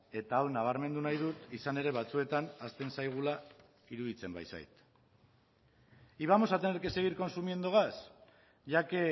eta hau nabarmendu nahi dut izan ere batzuetan ahazten zaigula iruditzen baitzait y vamos a tener que seguir consumiendo gas ya que